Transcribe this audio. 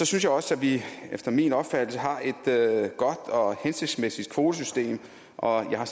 synes også at vi efter min opfattelse har et godt og hensigtsmæssigt kvotesystem og jeg har